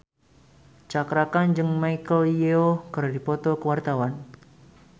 Cakra Khan jeung Michelle Yeoh keur dipoto ku wartawan